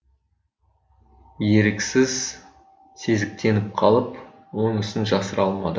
еріксіз сезіктеніп қалып онысын жасыра алмады